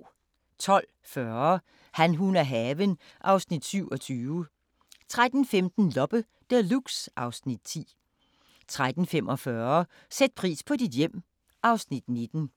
12:40: Han, hun og haven (Afs. 27) 13:15: Loppe Deluxe (Afs. 10) 13:45: Sæt pris på dit hjem (Afs. 19)